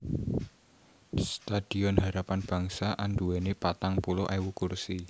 Stadion Harapan Bangsa anduwèni patang puluh ewu kursi